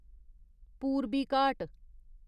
पूरबी घाट